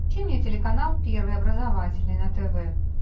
включи мне телеканал первый образовательный на тв